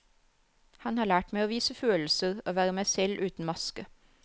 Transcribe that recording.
Han har lært meg å vise følelser, å være meg selv uten maske.